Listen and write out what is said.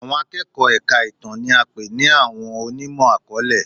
Àwọn akẹ́kọ̀ọ́ èka ìtàn ni a pè ní àwọn onímọ̀-akọọlẹ.